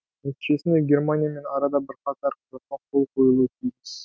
нәтижесінде германиямен арада бірқатар құжатқа қол қойылуы тиіс